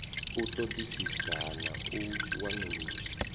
u ṱoḓisisa na u wanulusa